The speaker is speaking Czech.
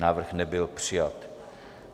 Návrh nebyl přijat.